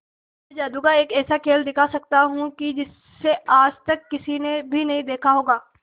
मैं जादू का एक ऐसा खेल दिखा सकता हूं कि जिसे आज तक किसी ने भी नहीं देखा होगा